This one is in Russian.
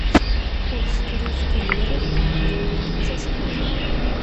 курс турецкой лиры в банке купить за сколько